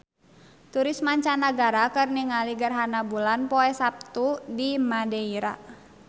Turis mancanagara keur ningali gerhana bulan poe Saptu di Madeira